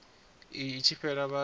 iyi i tshi fhela vhathu